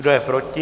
Kdo je proti?